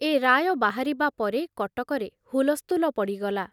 ଏ ରାୟ ବାହାରିବା ପରେ କଟକରେ ହୁଲସ୍ଥୁଲ ପଡ଼ିଗଲା।